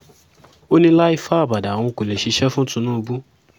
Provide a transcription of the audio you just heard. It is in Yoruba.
ó ní láé fábàdà òun kó lè ṣiṣẹ́ fún tinubu